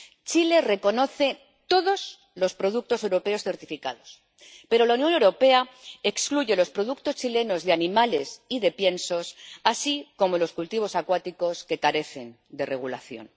Chile reconoce todos los productos europeos certificados, pero la Unión Europea excluye los productos chilenos de animales y de piensos, así como los cultivos acuáticos que carecen de regulación.